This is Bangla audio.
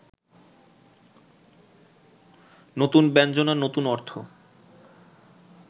নতুন ব্যঞ্জনা, নতুন অর্থ